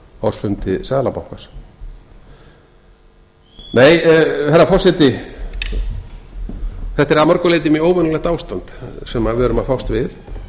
ársfundi seðlabankans nei herra forseti þetta er að mörgu leyti mjög óvenjulegt ástand sem við erum að fást við